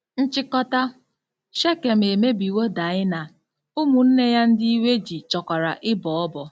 Nchịkọta: Shekem emebiwo Daịna, ụmụnne ya ndị iwe ji chọkwara ịbọ ọbọ